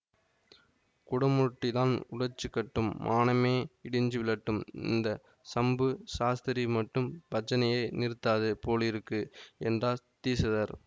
குடமுருட்டிதான் உடைச்சுக்கட்டும் மானமே இடிஞ்சு விழட்டும் இந்த சம்பு சாஸ்திரி மட்டும் பஜனையை நிறுத்தாது போலிருக்கு என்றார் தீக்ஷிதர்